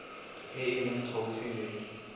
e e leng gaufi le